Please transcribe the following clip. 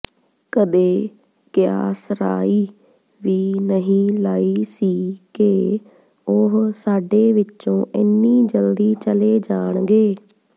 ਕਦੇ ਕਿਆਸਰਾਈ ਵੀ ਨਹੀਂ ਲਾਈ ਸੀ ਕਿ ਉਹ ਸਾਡੇ ਵਿਚੋਂ ਇੰਨੀ ਜਲਦੀ ਚਲੇ ਜਾਣਗੇ